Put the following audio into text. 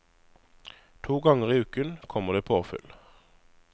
To ganger i uken kommer det påfyll.